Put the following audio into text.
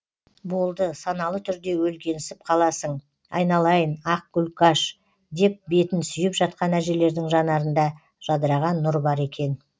болды саналы түрде өлгенсіп қаласың айналайын ақ гүлкаш деп бетін сүйіп жатқан әжелердің жанарында жадыраған нұр бар екен